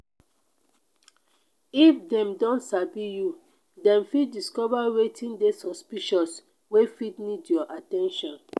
if dem don sabi you dem fit discover wetin de suspicious wey fit need your at ten tion